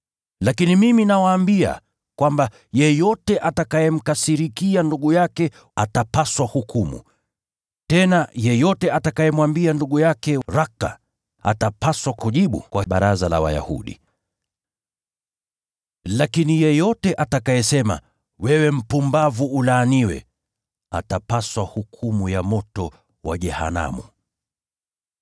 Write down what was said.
Lakini mimi nawaambia kwamba, yeyote atakayemkasirikia ndugu yake, atapaswa hukumu. Tena, yeyote atakayemwambia ndugu yake, ‘Raka,’ atapaswa kujibu kwa Baraza la Wayahudi. Lakini yeyote atakayesema ‘Wewe mpumbavu!’ atapaswa hukumu ya moto wa jehanamu.